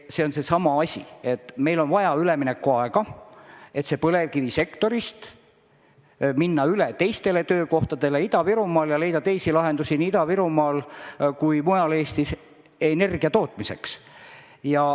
See on seesama tõsiasi, et meil on vaja üleminekuaega, et põlevkivisektorist minna üle teistele töökohtadele Ida-Virumaal ja leida teisi lahendusi nii Ida-Virumaal kui mujal Eestis energia tootmiseks.